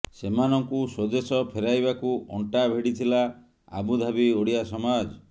ସେମାନଙ୍କୁ ସ୍ୱଦେଶ ଫେରାଇବାକୁ ଅଣ୍ଟା ଭିଡିଥିଲା ଆବୁଧାବି ଓଡିଆ ସମାଜ